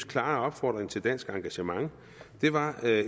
klare opfordring til dansk engagement var